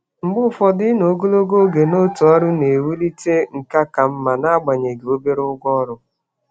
Mgbe um ụfọdụ, ịnọ ogologo oge n'otu um ọrụ na-ewulite nkà ka mma n'agbanyeghị ụgwọ ọrụ dị ala. um